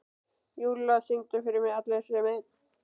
Júlla, syngdu fyrir mig „Allir sem einn“.